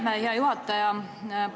Aitäh, hea juhataja!